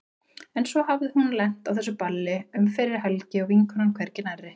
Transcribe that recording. En svo hafði hún lent á þessu balli um fyrri helgi og vinkonan hvergi nærri.